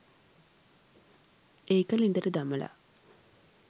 ඒක ළිඳට දමලා